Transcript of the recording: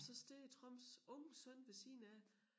Og så står Trumps unge søn ved siden af